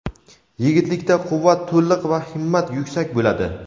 Yigitlikda quvvat to‘liq va himmat yuksak bo‘ladi.